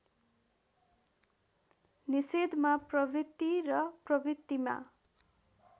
निषेधमा प्रवृत्ति र प्रवृत्तिमा